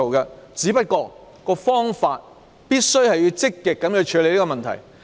然而，所採用的方法必須是積極處理問題。